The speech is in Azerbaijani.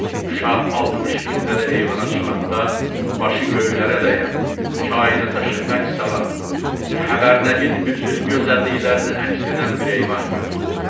Şah 60 pilləli eyvana çıxanda başı göylərə dəyən, kainata şəfəq salan, xəbər nəyin bütün gözəlliklərini əks edən bir eyvan gördü.